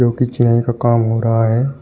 और का काम हो रहा है।